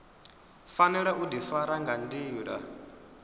fanela u difara nga ndila